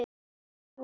En Lúlli?